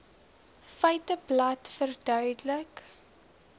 feiteblad verduidelik